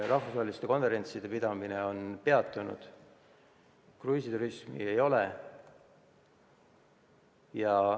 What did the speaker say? Rahvusvaheliste konverentside pidamine on peatunud, kruiisiturismi ei ole.